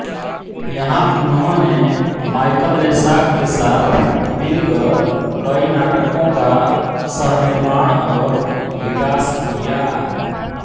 यहाँ उन्होंने Michael Lessac के साथ मिलकर कई नाटकों का सहनिर्माण और विकास किया